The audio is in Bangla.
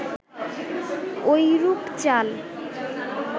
ঐরূপ চাল